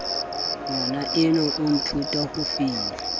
ngwanaenwa a nthuta ho fina